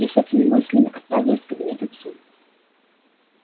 я с этими мыслями отправилась в кабинет к отцу